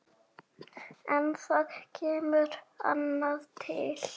En það kemur annað til.